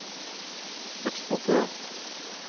eksportert